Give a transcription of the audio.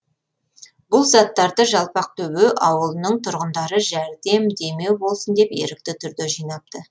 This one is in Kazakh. бұл заттарды жалпақтөбе ауылының тұрғындары жәрдем демеу болсын деп ерікті түрде жинапты